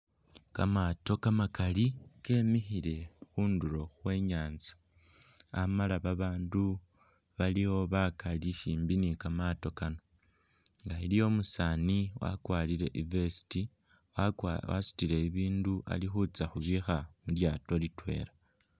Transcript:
Kamaato kamakaali kemikhile khundulo khwe nyanza Amala babaandu baliwo bakaali simbi ni kamaato Kano, iliwo umusani wakwarile I'vest, wasutile ibindu alikhutsa khubikha mulyato litwela